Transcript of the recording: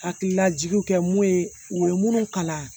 Hakililajigiw kɛ mun ye u ye minnu kalan